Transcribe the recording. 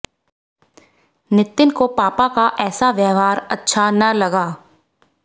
नितिन को पापा का ऐसा व्यवहार अच्छा न लगा